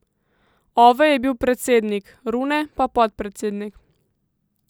Ove je bil predsednik, Rune pa podpredsednik.